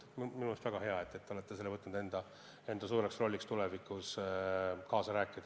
Minu meelest on väga hea, et te olete võtnud enda suureks ülesandeks kaasa rääkida.